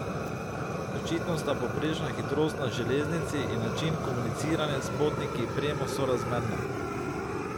Očitno sta povprečna hitrost na železnici in način komuniciranja s potniki premo sorazmerna!